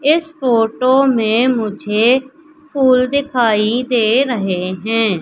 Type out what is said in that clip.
इस फोटो में मुझे फूल दिखाई दे रहे हैं।